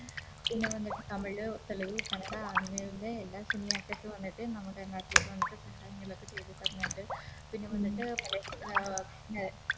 പിന്നെ വന്നിട്ട് തമിഴ് തെലുഗ് കന്നഡ അങ്ങനെയുള്ള എല്ലാ Film actors വന്നിട്ട് നമ്മുടെ നാട്ടിലേക്ക് വന്നിട്ട് സഹായങ്ങളൊക്കെ ചെയ്ത തരുന്നുണ്ട് പിന്നെ വന്നിട്ട് മല